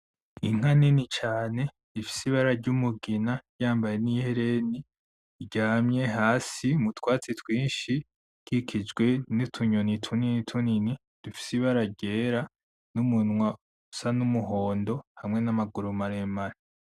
Inka nini cane ifise ibara ry'umugina yambaye n'ihereni, iryamye hasi mu twatsi twinshi ikikijwe n'utunyoni tunini tunini dufise ibara ryera n'umunwa usa n'umuhondo hamwe n'amaguru maremare.